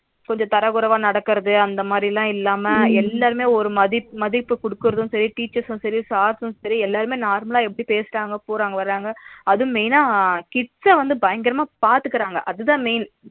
கொஞ்சம் தரக்குறைவா நடக்கிறது அந்த மாதிரி இல்லாம எல்லாருமே ஒரு மதிப்பு ஒரு மதிப்பு கொடுக்குறதும் சரி teacher சும் சரி sir ரும் சரி எல்லாருமே நார்மலா எப்படி பேசுறாங்க வர்றாங்க அதுவும் main னா kids வந்து பயங்கரமா பாத்துக்குறாங்க அதான் main